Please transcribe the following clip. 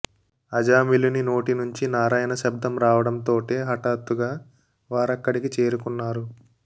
అజామిళుని నోటి నుంచి నారాయణ శబ్దం రావడం తోటే హఠాత్తుగా వారక్కడికి చేరుకు న్నారు